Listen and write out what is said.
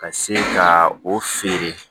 Ka se ka o feere